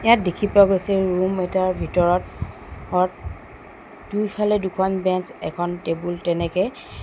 ইয়াত দেখি পোৱা গৈছে ৰুম এটাৰ ভিতৰত অত দুইফালে দুখন বেঞ্চ এখন টেবুল তেনেকে--